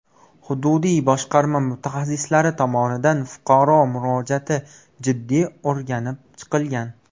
Hududiy boshqarma mutaxassislari tomonidan fuqaro murojaati jiddiy o‘rganib chiqilgan.